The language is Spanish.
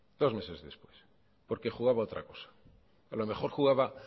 dos meses después porque jugaba a otra cosa a lo mejor jugaba